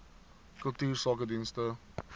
kultuursakedienste